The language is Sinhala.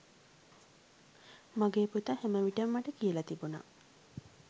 මගේ පුතා හැම විටම මට කියලා තිබුණා